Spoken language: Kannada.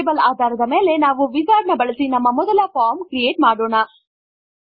ಬುಕ್ಸ್ ಟೇಬಲ್ ಆಧಾರದ ಮೇಲೆ ನಾವು ವಿಜಾರ್ಡ್ ನ ಬಳಸಿ ನಮ್ಮ ಮೊದಲ ಫಾರ್ಮ್ ಕ್ರಿಯೇಟ್ ಮಾಡೋಣ